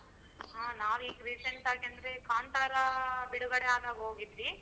ಹಾ ನಾವ್ ಈಗ recent ಆಗಿ ಅಂದ್ರೆ ಕಾಂತಾರ ಬಿಡುಗಡೆ ಆದಾಗ ಹೋಗಿದ್ವಿ.